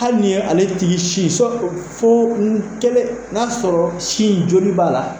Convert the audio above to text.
Hali ni ye ale tigi sin sɔn fo n'a sɔrɔ sin joli b'a la